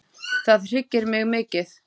Það hryggir mig mikið.